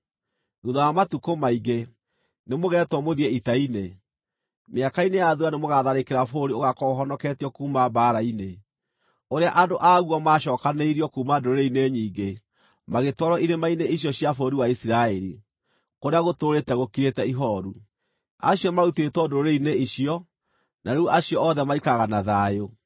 Thuutha wa matukũ maingĩ, nĩmũgetwo mũthiĩ ita-inĩ. Mĩaka-inĩ ya thuutha nĩmũgatharĩkĩra bũrũri ũgaakorwo ũhonoketio kuuma mbaara-inĩ, ũrĩa andũ aguo maacookanĩrĩirio kuuma ndũrĩrĩ-inĩ nyingĩ magĩtwarwo irĩma-inĩ icio cia bũrũri wa Isiraeli, kũrĩa gũtũũrĩte gũkirĩte ihooru. Acio marutĩtwo ndũrĩrĩ-inĩ icio, na rĩu acio othe maikaraga na thayũ.